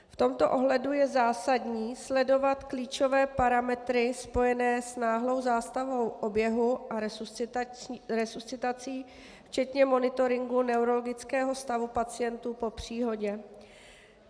V tomto ohledu je zásadní sledovat klíčové parametry spojené s náhlou zástavou oběhu a resuscitací včetně monitoringu neurologického stavu pacientů po příhodě.